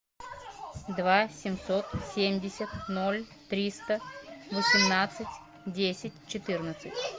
два семьсот семьдесят ноль триста восемнадцать десять четырнадцать